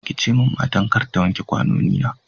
ki ce ma matar kar ta wanke ƙwanoni na.